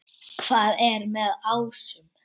Hvað er með ásum?